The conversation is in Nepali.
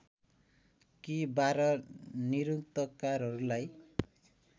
कि १२ निरुक्तकारहरूलाई